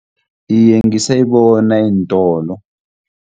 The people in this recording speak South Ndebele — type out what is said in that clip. Iye, ngisayibona eentolo.